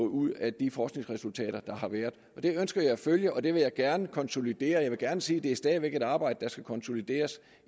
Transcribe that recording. ud af de forskningsresultater der har været det ønsker jeg at følge og det vil jeg gerne konsolidere jeg vil gerne sige at det stadig væk er et arbejde der skal konsolideres